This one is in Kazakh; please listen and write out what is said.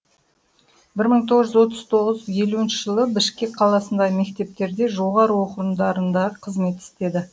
бір мың тоғыз жүз тоқсан тоғыз елуінші жылы бішкек қаласында мектептерде жоғары оқу орындарында қызмет істеді